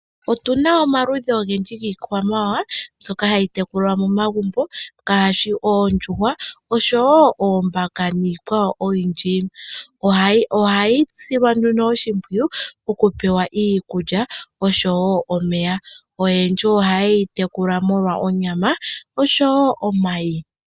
Otuna omaludhi ogendji yiikwamawawa mbyoka hayi tekulwa momagumbo ngaashi oondjuhwa, oshowo oombaka niikwawo oyindji. Ohayi silwa nduno oshimpwiyu oku pewa iikulya oshowo omeya. Oyendji oha yeyi tekula molwa onyama oshowo omayi.